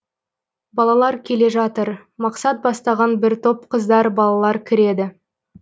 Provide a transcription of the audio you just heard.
балалар келе жатыр мақсат бастаған бір топ қыздар балалар кіреді